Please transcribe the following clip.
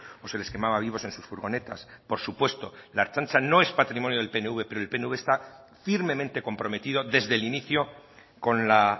o se les quemaba vivos en sus furgonetas por supuesto la ertzaintza no es patrimonio del pnv pero el pnv está firmemente comprometido desde el inicio con la